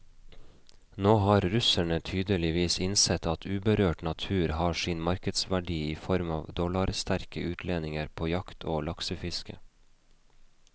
Nå har russerne tydeligvis innsett at uberørt natur har sin markedsverdi i form av dollarsterke utlendinger på jakt og laksefiske.